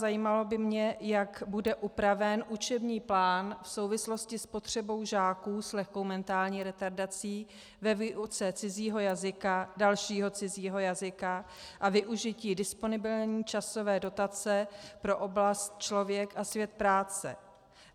Zajímalo by mě, jak bude upraven učební plán v souvislosti s potřebou žáků s lehkou mentální retardací ve výuce cizího jazyka, dalšího cizího jazyka a využití disponibilní časové dotace pro oblast Člověk a svět práce.